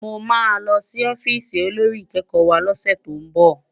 Mô ma lò si òfìsí ôlórí ikèékò wá lòsè tó n bò